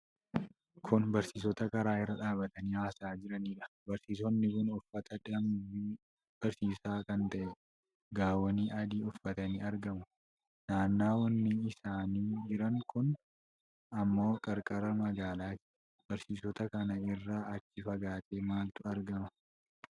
Kun barsiisota karaa irra dhaabatanii haasa'aa jiraniidha. Barsiisonni kun uffata dambii barsiisaa kan ta'e gaawonii adii uffatanii argamu. Naannawni isaan jiran kun ammoo qarqara magaalaati. Barsiisota kana irraa achii fagaatee maaltu argama?